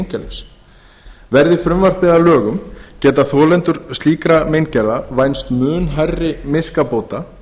einkalífsins verði frumvarpið að lögum geta þolendur slíkra meingerða vænst mun hærri miskabóta